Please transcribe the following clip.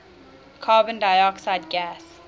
carbon dioxide gas